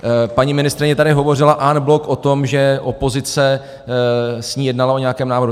Paní ministryně tady hovořila en bloc o tom, že opozice s ní jednala o nějakém návrhu.